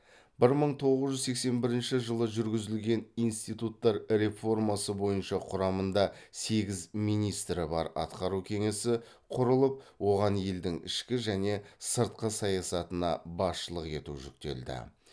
бір мың тоғыз жүз сексен бірінші жүргізілген институттар реформасы бойынша құрамында сегіз министрі бар атқару кеңесі құрылып оған елдің ішкі және сыртқы саясатына басшылық ету жүктелді